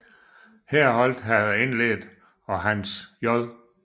Herholdt havde indledt og Hans J